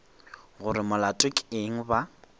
gore molato ke eng ba